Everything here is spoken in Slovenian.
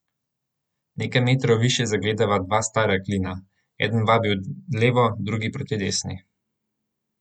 Nekaj metrov više zagledava dva stara klina, eden vabi v levo, drugi proti desni.